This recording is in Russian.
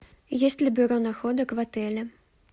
есть ли бюро находок в отеле